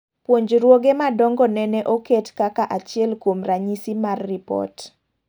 Puonjroge madongo nene oket kaka achiel kuom ranyisis mar repot